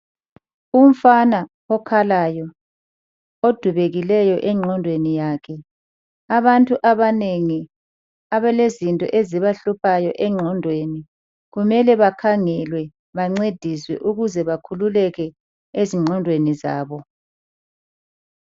Umfana okhalayo, odubekileyo engqondweni yakhe. Abantu abanengi abalezinto ezibahluphayo engqondweni kumele bakhangelwe, bancediswe ukuze bakhululeke ezingqondweni zabo.